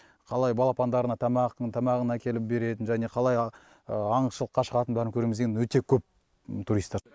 қалай балапандарына тамақ тамағын әкеліп беретін және қалай аңшылыққа шығатынын бәрін көреміз деген өте көп туристар